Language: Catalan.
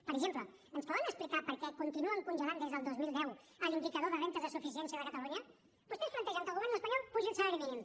per exemple ens poden explicar per què continuen congelant des del dos mil deu l’indicador de rendes de suficiència de catalunya vostès plantegen que el govern espanyol apugi el salari mínim